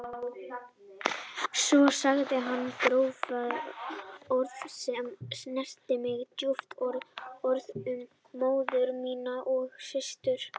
Svo sagði hann gróf orð sem snertu mig djúpt, orð um móður mína og systur.